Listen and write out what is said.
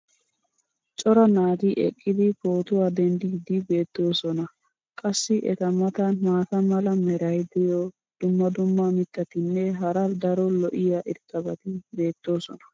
cora naati eqqidi pootuwa denddiidi beetoosona. qassi eta matan maata mala meray diyo dumma dumma mitatinne hara daro lo'iya irxxabati beettoosona.